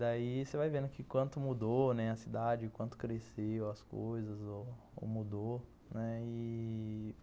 Daí você vai vendo que quanto mudou, né, a cidade, quanto cresceu as coisas ou mudou, né, e...